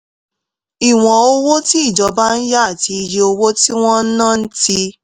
ìwọ̀n owó tí ìjọba ń yá àti iye owó tí wọ́n ń ná ti